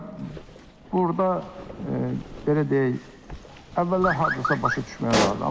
Və burda, belə deyək, əvvəllər hardasa başa düşmək olardı.